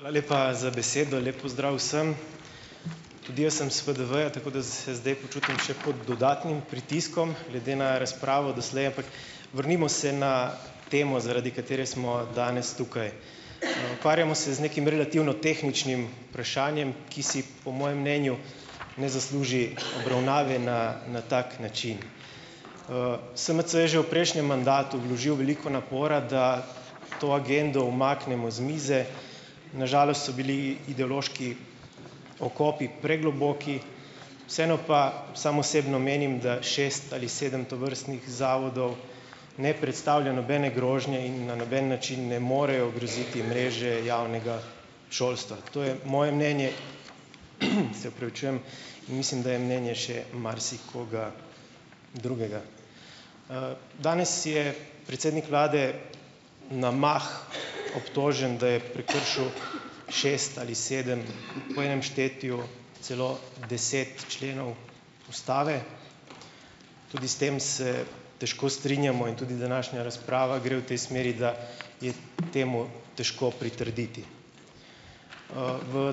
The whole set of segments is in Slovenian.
Hvala lepa za besedo. Lep pozdrav vsem! Tudi jaz sem s FDV-ja, tako se zdaj počutim še pod dodatnim pritiskom glede na razpravo doslej. Ampak vrnimo se na temo, zaradi katere smo danes tukaj. Ukvarjamo se z nekim relativno tehničnim vprašanjem, ki si po mojem mnenju ne zasluži obravnave na na tak način. SMC je že v prejšnjem mandatu vložil veliko napora, da to agendo umaknemo z mize, na žalost so bili ideološki okopi pregloboki. Vseeno pa sam osebno menim, da šest ali sedem tovrstnih zavodov ne predstavlja nobene grožnje in na noben način ne morejo ogroziti mreže javnega šolstva; to je moje mnenje, se opravičujem, in mislim, da je mnenje še marsikoga drugega. Danes je predsednik vlade na mah obtožen, da je prekršil šest ali sedem, po enem štetju celo deset členov ustave. Tudi s tem se težko strinjamo in tudi današnja razprava gre v tej smeri, da je temu težko pritrditi. V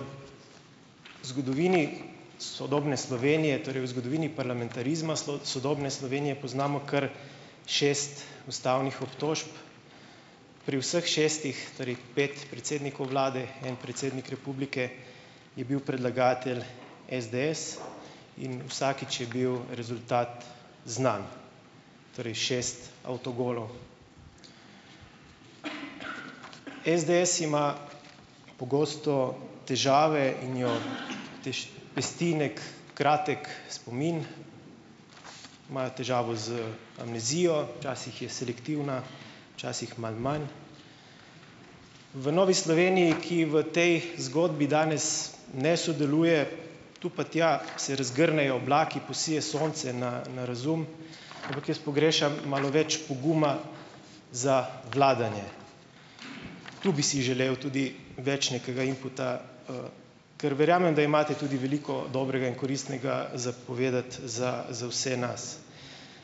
zgodovini sodobne Slovenije, torej v zgodovini parlamentarizma sodobne Slovenije, poznamo kar šest ustavnih obtožb, pri vseh šestih torej pet predsednikov vlade, en predsednik republike, je bil predlagatelj, SDS, in vsakič je bil rezultat znan, torej šest avtogolov. SDS ima pogosto težave in jo pesti neki kratek spomin, imajo težavo z amnezijo, včasih je selektivna, včasih malo manj. V Novi Sloveniji, ki v tej zgodbi danes ne sodeluje, tu pa tja se razgrnejo oblaki, posije sonce na na razum, ampak jaz pogrešam malo več poguma za vladanje. Tu bi si želel tudi več nekega inputa, ker verjamem, da imate tudi veliko dobrega in koristnega za povedati za za vse nas.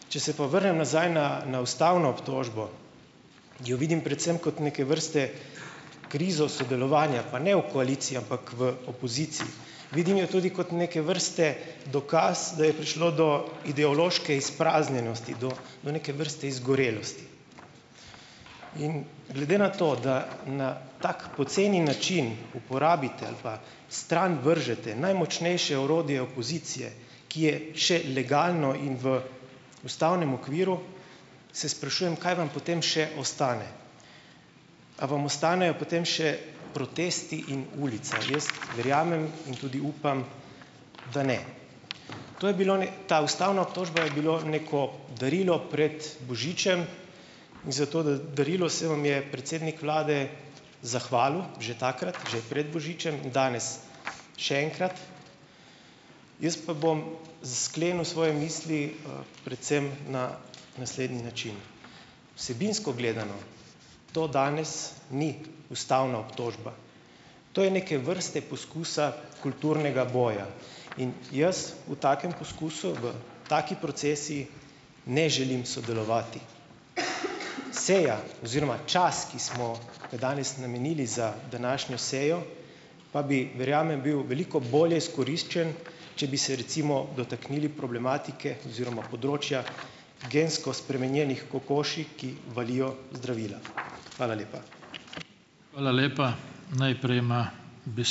Če se pa vrnem nazaj na na ustavno obtožbo, jo vidim predvsem kot neke vrste krizo sodelovanja, pa ne v koaliciji, ampak v opoziciji. Vidim jo tudi kot neke vrste dokaz, da je prišlo do ideološke izpraznjenosti, do do neke vrste izgorelosti. In glede na to, da na tako poceni način uporabite ali pa stran vržete najmočnejše orodje opozicije, ki je še legalno in v ustavnem okviru, se sprašujem, kaj vam potem še ostane. A vam ostanejo potem še protesti in ulica? Jaz verjamem in tudi upam, da ne. To je bilo ta ustavna obtožba je bilo neko darilo pred božičem in za to darilo se vam je predsednik vlade zahvalil že takrat, že pred božičem, danes še enkrat. Jaz pa bom sklenil svoje misli, predvsem na naslednji način. Vsebinsko gledano to danes ni ustavna obtožba. To je neke vrste poskus kulturnega boja. In jaz v takem poskusu, v taki procesiji ne želim sodelovati. Seja oziroma čas, ki smo ga danes namenili za današnjo sejo pa bi, verjamem, bil veliko bolje izkoriščen, če bi se, recimo, dotaknili problematike oziroma področja gensko spremenjenih kokoši, ki valijo zdravila. Hvala lepa.